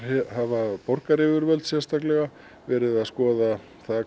hafa borgaryfirvöld verið að skoða